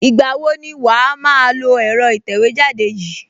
Ìgbà wo ni wàá máa lo ẹ̀rọ ìtẹ̀wẹ́jáde yìí?